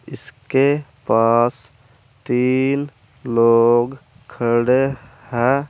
इसके पास तीन लोग खड़े हैं।